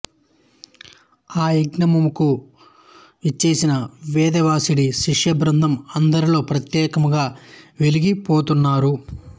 ఆ యజ్ఞముకు విచ్చేసిన వేదవ్యాసుడి శిష్యబృందము అందరిలో ప్రత్యేకముగా వెలిగి పోతున్నారు